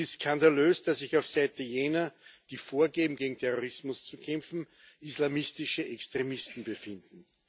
Es ist skandalös, dass sich auf Seite jener, die vorgeben, gegen Terrorismus zu kämpfen, islamistische Extremisten befinden.